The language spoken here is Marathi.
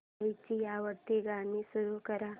आईची आवडती गाणी सुरू कर